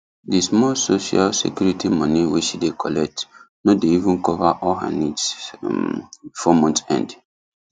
the small social security money wey she dey collect no dey even cover all her needs um before month end